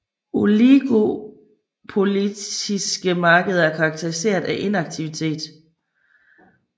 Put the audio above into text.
Oligopolistiske markeder er karakteriseret af interaktivitet